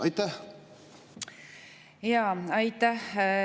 Aitäh!